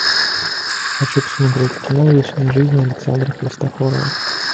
хочу посмотреть кино вечная жизнь александра христофорова